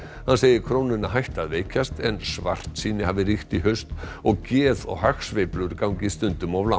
hann segir krónuna hætta að veikjast en svartsýni hafi ríkt í haust og geð og hagsveiflur gangi stundum of langt